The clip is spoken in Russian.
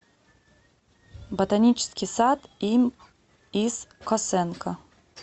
ботанический сад им ис косенко